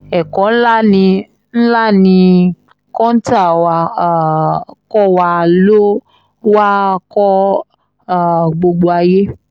ẹ̀kọ́ ńlá ni ńlá ni kọ́ńtà wàá um kọ́ wa ló wáá kó um gbogbo ayé